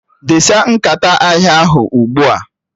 Desa nkata ahịa ahụ ugbua!